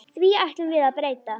Því ætlum við að breyta.